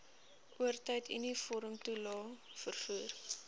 oortyd uniformtoelae vervoer